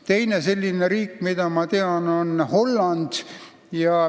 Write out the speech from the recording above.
Teine selline riik, mida ma tean, on Holland.